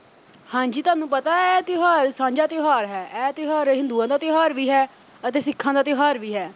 ਹਾਂਜੀ ਤੁਹਾਨੂੰ ਪਤਾ ਐ ਇਹ ਤਿਉਹਾਰ ਸਾਂਝਾ ਤਿਉਹਾਰ ਹੈ ਐ ਤਿਉਹਾਰ ਹਿੰਦੂਆਂ ਦਾ ਤਿਉਹਾਰ ਵੀ ਹੈ ਅਤੇ ਸਿੱਖਾਂ ਦਾ ਤਿਉਹਾਰ ਵੀ ਹੈ।